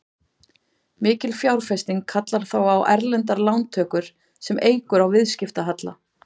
Mikil fjárfesting kallar þá á erlendar lántökur sem eykur á viðskiptahalla.